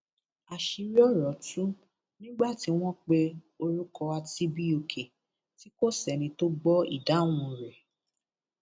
àṣírí ọrọ tú nígbà tí wọn pe orúkọ atibioke tí kò sẹni tó gbọ ìdáhùn rẹ